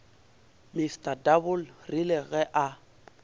mr double rile ge a